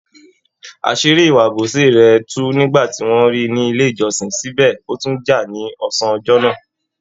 Àṣírí ìwà àbòsí rẹ̀ tú nígbà ti wọ́n ríi ní ilé ìjọsìn, síbẹ̀ ó tún jà ní ọsán ọjọ́ náà.